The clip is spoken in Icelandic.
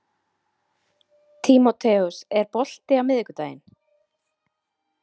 Tímoteus, er bolti á miðvikudaginn?